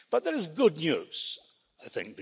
But there is good news, I think.